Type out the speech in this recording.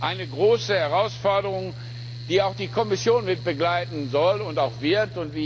Eine große Herausforderung, die auch die Kommission mitbegleiten soll und auch wird.